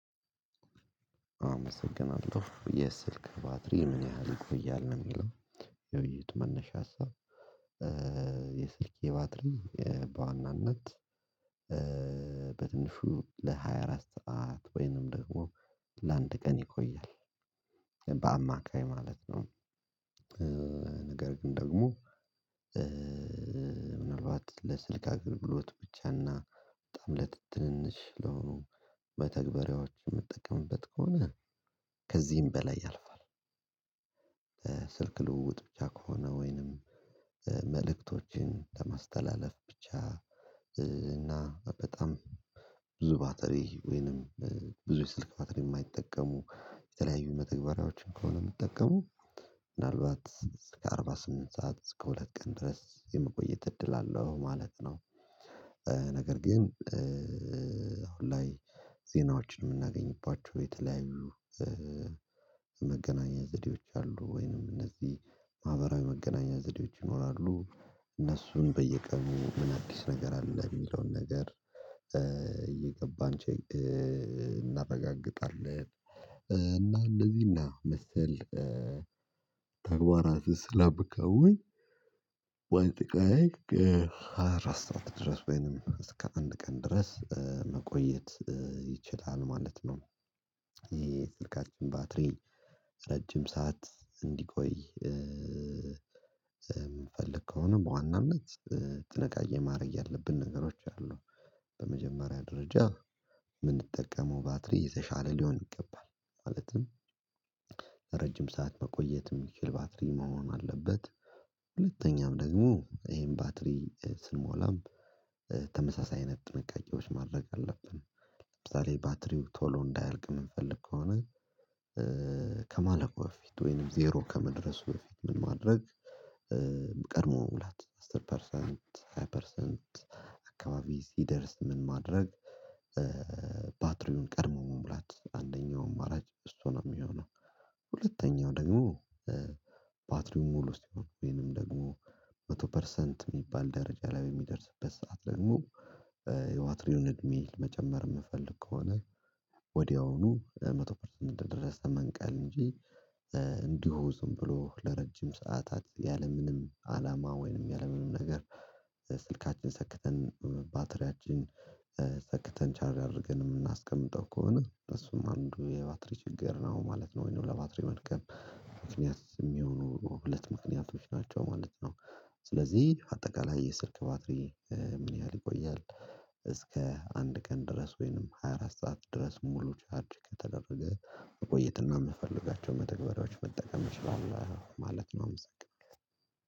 አመሰግናለሁ የስልክ ባትሪህ ምን ያህል ይቆያል? ነው የሚለው የውይይት መነሻ ሀሳብ የስልክ ባትሪ በዋናነት በትንሹ ለሃያ አራት ሰዓት ወይንም ደግሞ ለአንድ ቀን ይቆያል በአማካይ ማለት ነው ነገር ግን ደግሞ ምናልባት ለስልክ አግብሎት ብቻና በጣም ለት ትንሽ ለሆኑ መተግበሪያዎች የምጠቀምበት ከሆነ ከዚህም በላይ ያልፋል፣ ስልክ ልውውጥ ብቻ ከሆነ ወይንም መልእክቶችን ለማስተላለፍ ብቻ እና በጣም ብዙ ባትሪ ወይንም ብዙ የስልክ ባትሪ የማይጠቀሙ የተለያዩ መተግበሪያዎችን ከሆነ የምጠቀመው ምናልባት እስከ አርባ ስምንት ሰዓት እስከ ሁለት ቀን ድረስ የመቆየት እድል አለው ማለት ነው፤ ነገር ግን አሁን ላይ ዜናዎችን የምናገኝባቸው የተለያዩ መገናኛ ዘዴዎች አሉ ወይንም እነዚህ ማህበራዊ መገናኛ ዘዴዎች ይኖራሉ እነሱም በየቀኑ ምን አዲስ ነገር አለ የሚለውን ነገር እየገባን እናረጋግጣለን እና እንደዚህ እና መሰል ተግባራት ስለምከውን ባንድ ቀን ሃያ አራት ድረስ ወይንም እስከ አንድ ቀን ድረስ መቆየት ይችላል ማለት ነው። ይሄ ስልካችን ባትሪ ረጅም ሰዓት እንዲቆይ የምንፈልገው ከሆነ በዋናነት ጥንቃቄ ማድረግ ያለብን ነገሮች አሉ በመጀመሪያ ደረጃ የምንጠቀመው ባትሪ የተሻለ ሊሆን ይገባል ማለትም ረጅም ሰዓት መቆየት የሚችል ባትሪ መሆን አለበት፣ ሁለተኛም ደግሞ ይሄን ባትሪ ስንሞላም ተመሳሳይ አይነት ጥንቃቄዎች ማድረግ አለብን ለምሳሌ ባትሪው ቶሎ እንዳያልቅ የምንፈልግ ከሆነ ከማለቁ በፊት ወይንም ዜሮ ከመድረሱ በፊት ምን ማድረግ ቀድሞ መሙላት አስር ፐርሰንት ሃያ ፐርሰንት አካባቢ ሲደርስ ምን ማድረግ ፓትሪውን ቀድሞ መሙላት አንደኛው አማራጭ እሱ ነው የሚሆነው፣ ሁለተኛው ደግሞ ፓትሪው ሙሉ ሲሆን ወይንም ደግሞ መቶ ፐርሰንት የሚባል ደረጃ ላይ በሚደርስበት ሰዓት ደግሞ የዋትሪውን እድሜ መጨመር የምንፈልግ ከሆነ ወዲያውኑ መቶ ፐርሰንት እንደደረሰ መንቀል እንጂ እንዲሁ ዝም ብሎ ለረጅም ሰዓታት ያለምንም አላማ ወይንም ያለምንም ነገር ስልካችን ሰክተን ባትሪያችን ሰክተን ቻርጅ አድርገን የምናስቀምጠው ከሆነ እሱም አንዱ የባትሪ ችግር ነው ማለት ነው ወይንም ለባትሪው መድከም ምክንያት የሚሆኑ ሁለት ምክንያቶች ናቸው ማለት ነው፤ ስለዚህ አጠቃላይ የስልክ ባትሪ ምን ያህል ይቆያል እስከ አንድ ቀን ድረስ ወይንም ሃያ አራት ሰዓት ድረስ ሙሉ ቻርጅ ከተደረገ መቆየትና የምንፈልጋቸው መተግበሪያዎች መጠቀም እችላለሁ ማለት ነው አመሰናለሁ።